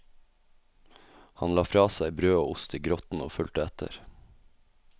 Han la fra seg brød og ost i grotten og fulgte etter.